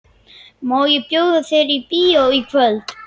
Má ég bjóða þér í bíó í kvöld?